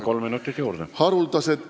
Kolm minutit juurde.